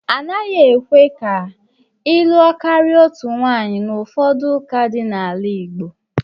A naghị ekwe ka ịlụ karịa otu nwaanyị n'ụfọdụ ụka dị n'ala Igbo